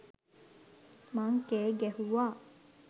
මං කෑ ගැහුවා.